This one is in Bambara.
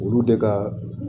Olu de ka